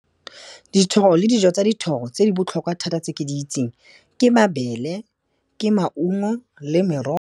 Dithoro le dijo tsa dithoro tse di botlhokwa thata tse ke di itseng, ke mabele, ke maungo le merogo.